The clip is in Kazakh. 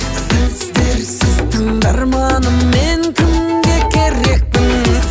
сөздерсіз тыңдарманым мен кімге керекпін